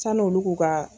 San'u olu k'u ka